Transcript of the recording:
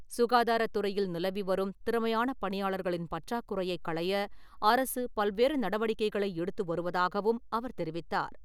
சுகாதாரத்துறையில் நிலவி வரும் திறமையான பணியாளர்களின் பற்றாக்குறையை களைய அரசு பல்வேறு நடவடிக்கைகளை எடுத்து வருவதாகவும் அவர் தெரிவித்தார்.